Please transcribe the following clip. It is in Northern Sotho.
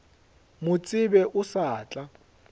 mo tsebe o sa tla